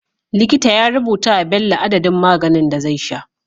Likita ya rubuta wa Bello adadin maganin da zai sha